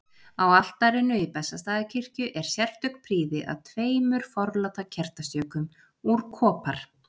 Á altarinu í Bessastaðakirkju er sérstök prýði að tveimur forláta kertastjökum úr kopar.